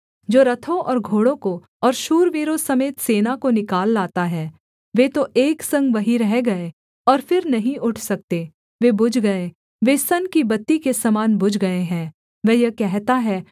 जो रथों और घोड़ों को और शूरवीरों समेत सेना को निकाल लाता है वे तो एक संग वहीं रह गए और फिर नहीं उठ सकते वे बुझ गए वे सन की बत्ती के समान बुझ गए हैं वह यह कहता है